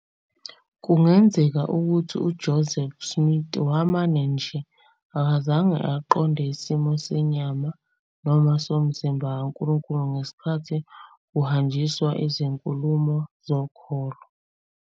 Kungenzeka ukuthi uJoseph Smith wamane nje akazange aqonde isimo senyama noma somzimba kaNkulunkulu ngesikhathi kuhanjiswa Izinkulumo Zokholo.